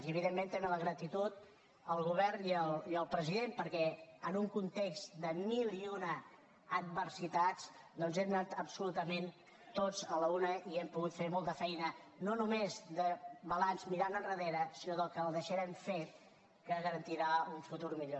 i evidentment també la gratitud al govern i al president perquè en un context de mil i una adversitats doncs hem anat absolutament tots a l’una i hem pogut fer molta feina no només de balanç mirant endarrere sinó del que deixarem fet que garantirà un futur millor